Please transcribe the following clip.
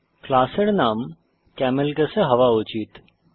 ক্লাসের নাম কেমেলকেসে হওয়া উচিত